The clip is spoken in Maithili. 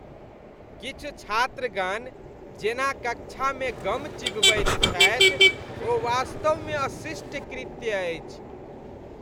किछु छात्रगण जेन कक्षामे गम चिबबैत छथि ओ वास्तवमे अशिष्ट कृत्य अछि।